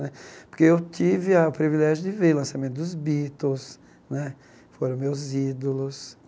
Né porque eu tive a privilégio de ver o lançamento dos Beatles né, foram meus ídolos.